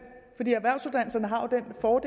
for